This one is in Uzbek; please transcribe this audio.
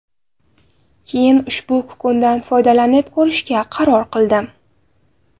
Keyin ushbu kukundan foydalanib ko‘rishga qaror qildim.